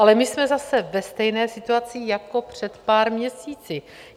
Ale my jsme zase ve stejné situaci jako před pár měsíci.